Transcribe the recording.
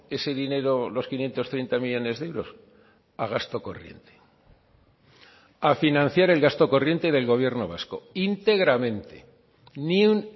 ese dinero los quinientos treinta millónes de euros a gasto corriente a financiar el gasto corriente del gobierno vasco íntegramente ni un